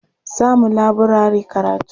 Za mu laburare karatu.